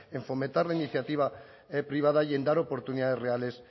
en fomentar la iniciativa privada y en dar oportunidades reales